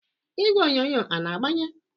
Igwe onyonyo a na-agbanye?